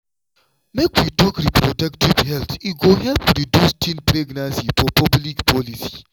make we talk reproductive health e go help reduce teen pregnancy for public policy.